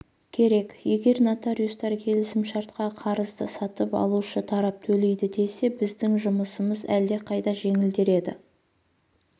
керек егер нотариустар келісімшартқа қарызды сатып алушы тарап төлейді десе біздің жұмысымыз әлдеқайда жеңілдер еді